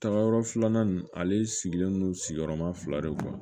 Tagayɔrɔ filanan in ale sigilen don sigiyɔrɔma fila de